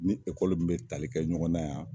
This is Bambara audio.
Ni ekɔli min be tali kɛ ɲɔgɔn na yan